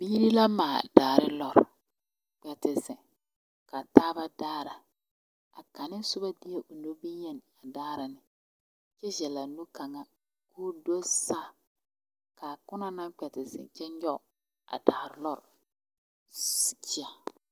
Biiri la maale daare loori a kpɛ te zeŋ ka a taaba daara a kaŋa soba de la o nu boŋyeni a daara ne kyɛ zɛle o nu kaŋa ka o do saa ka a ona naŋ kpɛ te zeŋ kyɛ nyɔge a daare loori siteya.